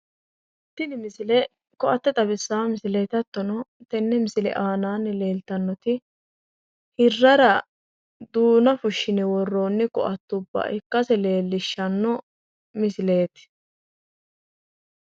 Tini misile koatte xawissawo misileeti, hattono tenne misile aananni leeltawooti hirrara duuna fushshine worronni koatte ikkase leellishshawo misileeti